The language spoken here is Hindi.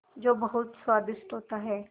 जो बहुत स्वादिष्ट होता है